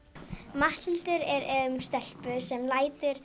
Matthildur er um stelpu sem lætur